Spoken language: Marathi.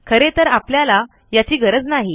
खरे तर आपल्याला याची गरज नाही